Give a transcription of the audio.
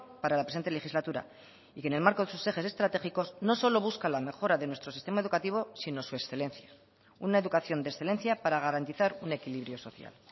para la presente legislatura y que en el marco de sus ejes estratégicos no solo busca la mejora de nuestro sistema educativo sino su excelencia una educación de excelencia para garantizar un equilibrio social